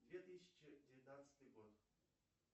две тысячи девятнадцатый год